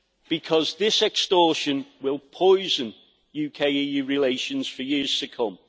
Because this extortion will poison UK EU relations for years to come.